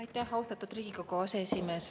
Aitäh, austatud Riigikogu aseesimees!